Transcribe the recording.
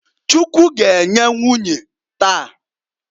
Chukwu g'enye nwunye taa.